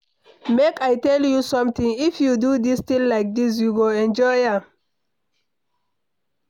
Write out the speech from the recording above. Make I tell you something, if you do dis thing like dis you go enjoy am.